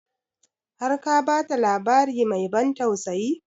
Har ka ba ta labari mai ban tausayi?